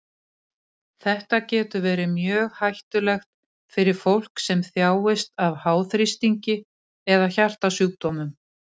Þetta getur verið mjög hættulegt fyrir fólk sem þjáist af háþrýstingi eða hjartasjúkdómum.